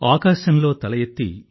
ఆకాశంలో తల ఎత్తి